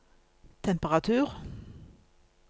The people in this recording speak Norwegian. temperatur